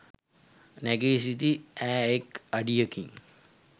නැගී සිටි ඈ එක් අඩියකින්